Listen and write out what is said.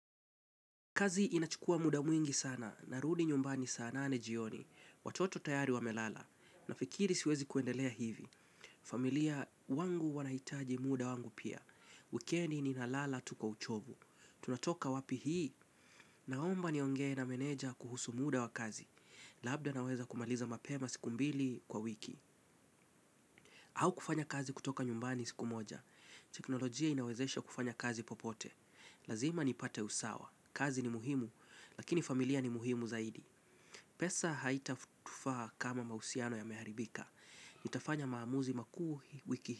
Kazi inachukua muda mwingi sana, narudi nyumbani saa nane jioni, watoto tayari wamelala, nafikiri siwezi kuendelea hivi. Familia wangu wanaitaji muda wangu pia, wikendi ninalala tu kwa uchovu. Tunatoka wapi hii, naomba niongee na meneja kuhusu muda wa kazi, labda naweza kumaliza mapema siku mbili kwa wiki. Au kufanya kazi kutoka nyumbani siku moja, teknolojia inawezesha kufanya kazi popote. Lazima nipate usawa. Kazi ni muhimu. Lakini familia ni muhimu zaidi. Pesa haitatufaa kama mahusiano yameharibika. Nitafanya maamuzi makuu wiki.